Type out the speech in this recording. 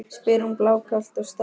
spyr hún blákalt og starir á hann.